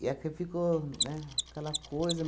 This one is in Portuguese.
E aqui ficou, né, aquela coisa.